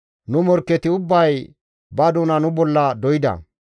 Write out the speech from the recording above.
Nu morkketi ubbay ba doona nu bolla doyda.